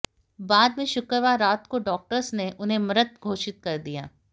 बाद में शुक्रवार रात को डॉक्टर्स ने उन्हें मृत घोषित कर दिया